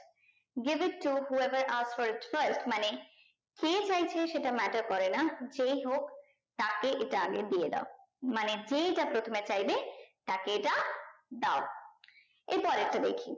give it to who ever are storage way মানে সে চাইছে সেটা matter করে না যেই হোক তাকে এটা আগে দিয়ে দাও মানে যে এইটা প্রথমে চাইবে তাকে এটা দাও এর পরেরটা দেখি